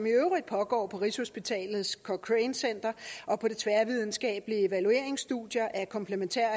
i øvrigt pågår på rigshospitalets cochrane center og på de tværvidenskabelige evalueringsstudier af komplementære